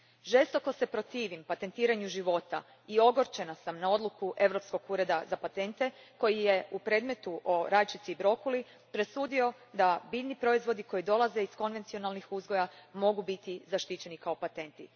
Žestoko se protivim patentiranju života i ogorčena sam na odluku Europskog ureda za patente koji je u predmetu o rajčici i brokuli presudio da biljni proizvodi koji dolaze iz konvencionalnih uzgoja mogu biti zaštićeni kao patenti.